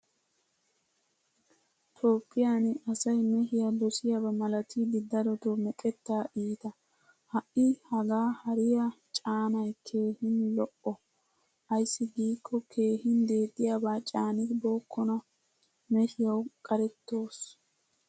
Toophphiyan asay meehiyaa dosiyaba malattidi darotto meqetta iitta. Ha'i hagaa hariyaa caanay keehin lo'o. Ayssi giiko keehin deexiyaba caanibokkona. Meehiyawu qarettoos.